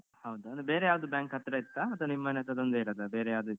ಹೌದಾ ಅಂದ್ರೆ ಬೇರೆ ಯಾವ್ದು bank ಹತ್ರ ಇತ್ತ ಅಥವ ನಿಮ್ಮ್ ಮನೆ ಹತ್ರ ಅದೊಂದೆ ಇರೋದ ಬೇರೆಯಾವ್ದ್ ಇತ್ತ್.